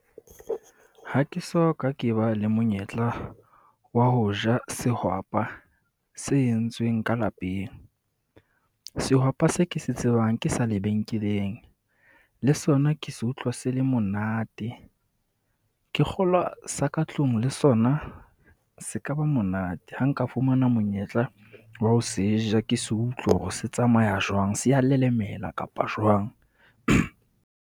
Ha ke so ka ke ba le monyetla wa ho ja sehwapa se entsweng ka lapeng. Sehwapa se ke se tsebang ke sa lebenkeleng le sona ke se utlwa se le monate. Ke kgolwa sa ka tlung le sona se ka ba monate. Ha nka fumana monyetla wa ho se ja, ke se utlwe hore se tsamaya jwang, se a lelemela kapa jwang.